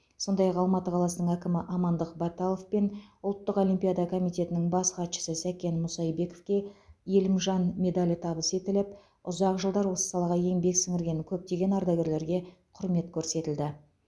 сондай ақ алматы қаласының әкімі амандық баталов пен ұлттық олимпиада комитетінің бас хатшысы сәкен мұсайбековке елімжан медалі табыс етіліп ұзақ жылдар осы салаға еңбек сіңірген көптеген ардагерлерге құрмет көрсетілді